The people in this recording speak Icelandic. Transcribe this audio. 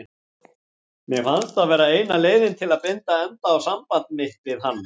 Mér fannst það vera eina leiðin til að binda enda á samband mitt við hann.